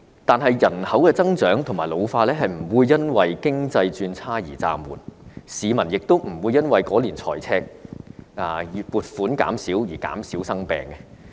但是，人口增長和老化不會因為經濟轉差而暫緩，市民亦不會因為該年財赤、醫療撥款減少而減少生病。